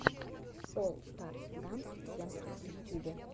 олл старс данс сентр в ютюбе